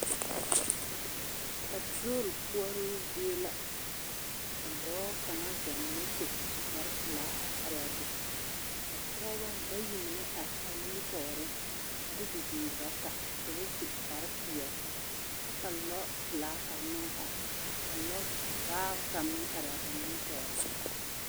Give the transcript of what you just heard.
Paaturol koͻroo zie la ka dͻͻ kaŋa zͻͻ moto su kpare- pelaa a araa be. Ka pͻgebͻ bayi mine are a nimitͻͻreŋ a de bibiiri bata ka bas u kpare-peԑle kyԑ ka lͻͻpelaa kaŋ meŋ are ka lͻͻvaao kaŋ meŋ araa ba nimitͻͻreŋ.